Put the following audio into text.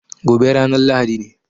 Gobe ranan lahadi ne